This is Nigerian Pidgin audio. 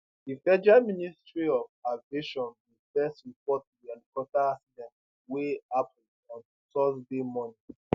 di federal ministry of aviation bin first report di helicopter accident wey happun on thursday morning